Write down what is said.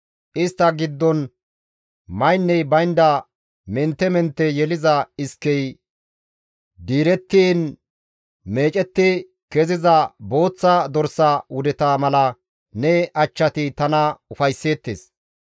Istta giddon maynney baynda mentte mentte yeliza iskey diirettiin meecetti keziza booththa dorsa wudeta mala ne achchati tana ufaysseettes.